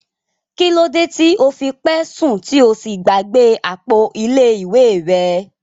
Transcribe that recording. Kilode ti o fi pẹ sun ti o sí gbàgbé àpò ilé ìwé rẹ?